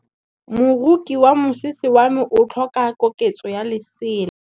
Moroki wa mosese wa me o tlhoka koketsô ya lesela.